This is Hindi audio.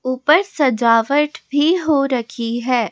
ऊपर सजावट भी हो रखी है।